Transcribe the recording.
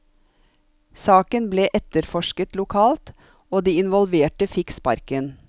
Saken ble etterforsket lokalt, og de involverte fikk sparken.